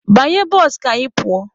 Banye bụsụ ka anyị pụọ!